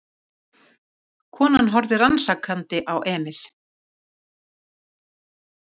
Konan horfði rannsakandi á Emil.